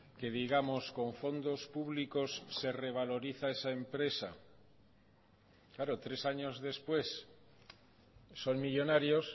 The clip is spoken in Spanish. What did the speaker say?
que digamos con fondos públicos se revaloriza esa empresa claro tres años después son millónarios